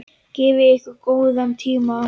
Gefið ykkur góðan tíma.